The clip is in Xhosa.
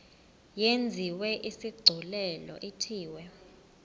yenziwe isigculelo ithiwe